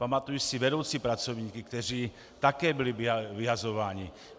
Pamatuji si vedoucí pracovníky, kteří také byli vyhazováni.